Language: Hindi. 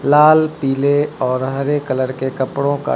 लाल पीले और हरे कलर के कपड़ो का--